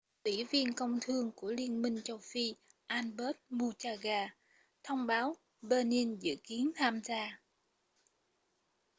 ủy viên công thương của liên minh châu phi albert muchanga thông báo benin dự kiến tham gia